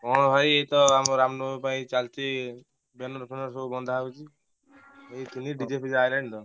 ହଁ ଭାଇ ଏଇତ ଆମର ରାମନବମୀ ପାଇଁ ଚାଲିଛି banner ଫ୍ୟାନର ସବୁ ବନ୍ଧା ହଉଛି। ଏଇଠି ଥିଲି DJ ଫିଜେ ଆଇଲାଣି ତ।